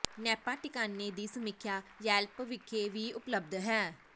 Napa ਟਿਕਾਣੇ ਦੀ ਸਮੀਖਿਆ ਯੈਲਪ ਵਿਖੇ ਵੀ ਉਪਲਬਧ ਹੈ